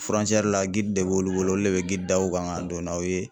la de b'olu bolo olu le bɛ d'aw kan ka don n'aw ye.